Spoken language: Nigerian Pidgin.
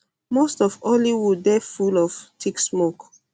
most of um hollywood dey full of thick smoke